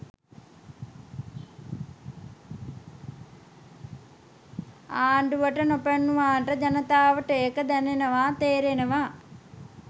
ආණ්ඩුවට නොපෙනුනාට ජනතාවට එක දැනෙනවා තේරෙනවා.